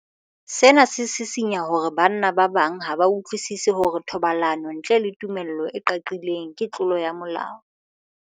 Sena se sisinya hore banna ba bang ha ba utlwisisi hore thobalano ntle le tumello e qaqileng ke tlolo ya molao.